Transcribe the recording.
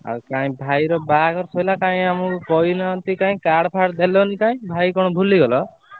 ଆଉ କାଇଁ ଭାଇର ବାହାଘର ସରିଲା କାଇଁ ଆମକୁ କହିନାହାନ୍ତି କାଇଁ କାର୍ଡ ଫାର୍ଡ ଦେଲନି ତ ଭାଇ କି କଣ ଭୁଲି ଗଲ?